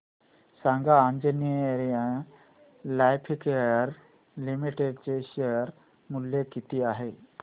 सांगा Anjaneya lifecare limited चे share मूल्य किती आहे